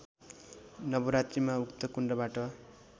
नवरात्रीमा उक्त कुण्डबाट